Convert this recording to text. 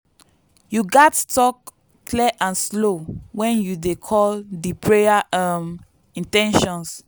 you gats talk clear and slow when you dey call di prayer um in ten tions.